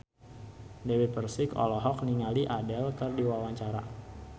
Dewi Persik olohok ningali Adele keur diwawancara